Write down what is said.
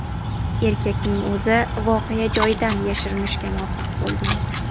Erkakning o‘zi voqea joyidan yashirinishga muvaffaq bo‘lgan.